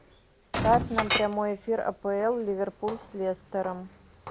ставь нам прямой эфир апл ливерпуль с лестером